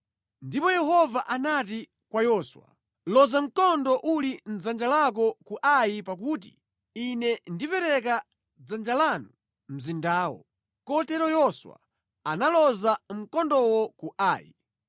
Ndipo Yehova anati kwa Yoswa, “Loza mkondo uli mʼdzanja lako ku Ai pakuti ine ndipereka mʼdzanja lanu mzindawo.” Kotero Yoswa analoza mkondowo ku Ai.